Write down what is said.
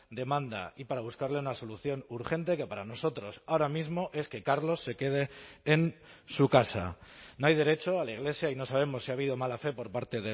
demanda y para buscarle una solución urgente que para nosotros ahora mismo es que carlos se quede en su casa no hay derecho a la iglesia y no sabemos si ha habido mala fe por parte